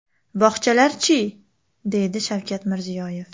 Bog‘chalarchi?”, deydi Shavkat Mirziyoyev.